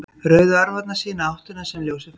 Rauðu örvarnar sýna áttina sem ljósið ferðast.